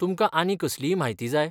तुमकां आनी कसलीय म्हायती जाय?